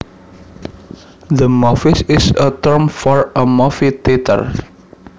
The movies is a term for a movie theater